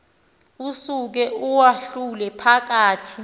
usuke uwahlule phakathi